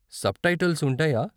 Subtitles ఉంటాయా?